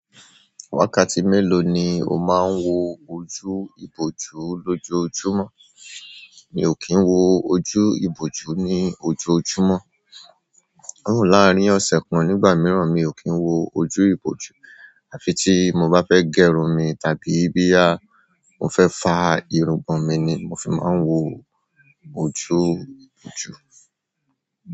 Wákàtí melo ni o maa n wo ojú iboju lojoojumo. Mi ò kí ń wo ojú ìbòjú ní ojoojúmọ́. Even láàárín ọ̀sẹ̀ kan nígbà mìíràn, mi ò kí ń wo ojú ìbòjú. À fi tí mo bá fẹ́ gẹrun mi, tàbí bí à mo fẹ́ fa irungbọ̀n mi ni, mo fi máa ń wo ojú ìbòjú.